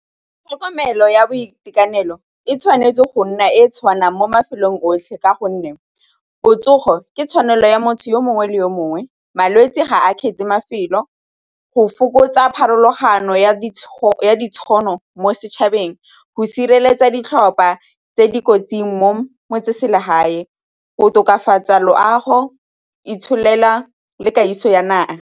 Tlhokomelo ya boitekanelo e tshwanetse go nna e e tshwanang mo mafelong otlhe ka gonne botsogo ke tshwanelo ya motho yo mongwe le yo mongwe, malwetse ga a kgethe mafelo go fokotsa pharologano ya ditšhono mo setšhabeng, go sireletsa ditlhopha tse dikotsi mo motseselegae, o tokafatsa loago itshelela le kagiso ya naga.